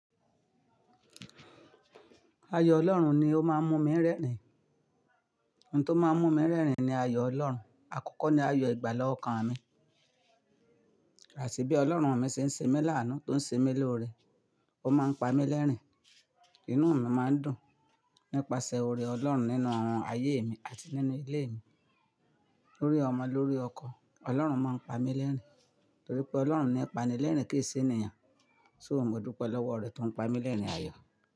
Ayo Ọlọ́run ni ó máa ń mú mi rẹ́rìn-ín. Ohun tó máa ń mú mi rẹ́rìn-ín ni ayo Ọlọ́run. Akọkọ ni ayo ìgbàla o kan mi. Ràṣí bí Ọlọ́run mi ṣe ń ṣe mi lánàá tó ń ṣe mi lóore. Ó máa ń pa mí lẹ́rìn-ín. Inú mi máa ń dùn nípasẹ̀ oore Ọlọ́run nínú ayé mi àti nínú ilé mi. Lórí ọmọ lórí ọkọ, Ọlọ́run máa ń pa mí lẹ́rìn-ín, torí pé Ọlọ́run ni ipànílẹ̀rìn-ín kéesí ènìyàn. So mo dúpẹ́ lọ́wọ́ rẹ̀ tó ń pa mí lẹ́rìn-ín ayọ̀.